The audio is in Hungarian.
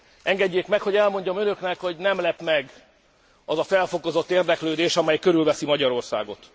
Engedjék meg, hogy elmondjam önöknek, hogy nem lep meg az a felfokozott érdeklődés, amely körülveszi Magyarországot.